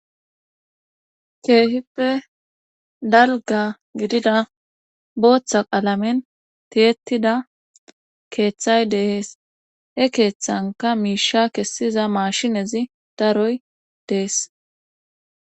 Keehippe dalgga gidida booththa qalamen tiyettida keethay de7es he keethankka miishsha kessiza maashinezi daroy dees.